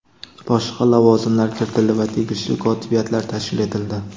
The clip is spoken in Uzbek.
boshqa lavozimlar kiritildi va tegishli kotibiyatlar tashkil etildi.